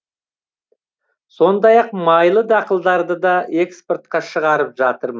сондай ақ майлы дақылдарды да экспортқа шығарып жатырмыз